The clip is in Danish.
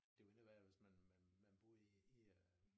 Det jo endnu værre hvis man man man boede i i øh